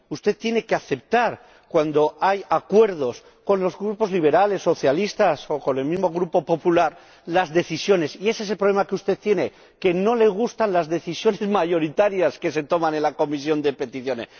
Usted tiene que aceptar, cuando hay acuerdos con los grupos liberales, socialistas o con el mismo Grupo Popular, las decisiones, y ese es el problema que usted tiene, que no le gustan las decisiones mayoritarias que se toman en la Comisión de Peticiones.